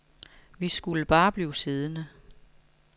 Vi skulle bare blive siddende.